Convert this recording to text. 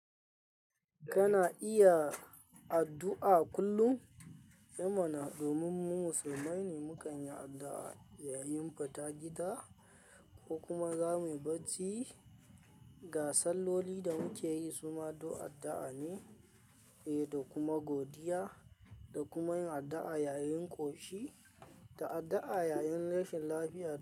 Kana iya addu'a kullum. Mana domin mu musulmai ne, mu kan yi addu'a yayin fita gida ko kuma zamu yi bacci. Ga salloli da muke yi su ma duk addu'a ne, eh, da kuma godiya da kuma yin addu'a yayin ƙoshi da addu'a yayin rashin lafiya.